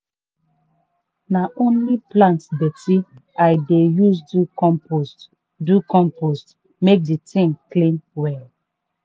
na only plant dirty i dey use do compost do compost make the thing clean well.